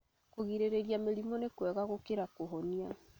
Kũrigĩrĩria mĩrimũ nĩ kwega gũkĩra kũhonia